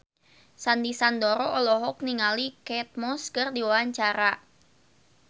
Sandy Sandoro olohok ningali Kate Moss keur diwawancara